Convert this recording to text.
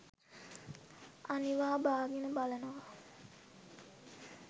අනිවා බාගෙන බලනවා.